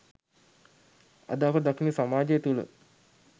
අද අප දකින සමාජය තුල